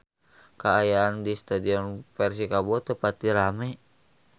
Kaayaan di Stadion Persikabo teu pati rame